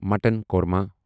mutton korma